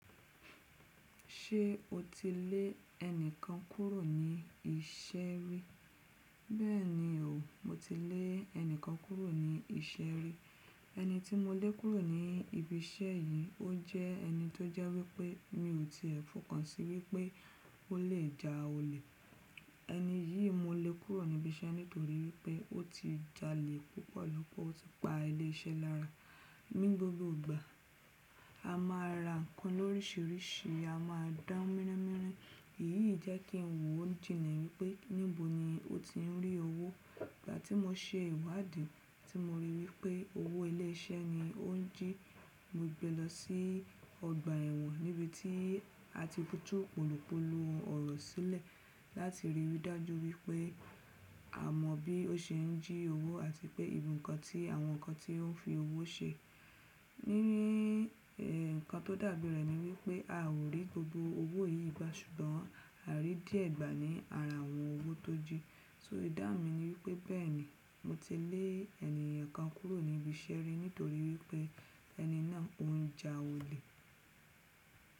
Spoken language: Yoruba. Ṣé o ti lé ẹnìkan kúrò ní iṣẹ́ rí? Bẹ́ẹ̀ni o, mo ti lé ẹnìkan kúrò ní iṣẹ́ rí. Ẹni tí mo lé kúrò ní ibi iṣẹ́ yìí, ó jẹ́ ẹni tó jẹ́ wípé mi ò tíì ẹ́ fọ̀kàn sí wípé ó lè ja olè. Ẹni yìí mo lé kúrò ní ibi iṣẹ́ nítorí wípé ó ti jalè púpọ̀ lọ́pọ̀, ó tì pa ilé iṣẹ́ lára. Ní gbogbo ìgbà, a máa ra nǹkan lórísìírísìí, a máa dan míràn míràn. Èyí jẹ́ kí n wò jìnle wípé níbo ni ó ti ń rí owó. Ìgbà tí mo ṣe ìwádìí tí mo rí wípé owó ilé iṣẹ́ ni ó ń jí, mo gbe lọ sí ọgbà ẹ̀wọ̀n níbi tí a ti tù polopolo ọ̀rọ̀ sílẹ̀ láti rí i dájú wípé a mọ bí ó ṣe ń jí owó àti pé ibi ǹkan tí àwọn nǹkan tí ó ń fi owó ṣe. Nkan tó dàbí rẹ̀ ni wípé a ò rí gbogbo owó yìí gbà ṣùgbọ́n à rí díẹ̀ gbà ní ara àwọn owó tó jí. So idáhun mi ni wípé bẹ́ẹ̀ni mo ti lé ènìyàn kan kúrò ní ibi iṣẹ́ rí nítorí wípé ẹni náà ó ń ja olè.